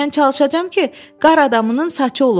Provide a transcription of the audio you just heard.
Mən çalışacağam ki, qar adamının saçı olum.